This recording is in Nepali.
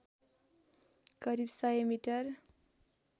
करिब सय मिटर